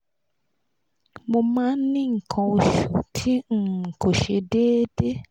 mo ma n ni nkan osu ti um ko se deede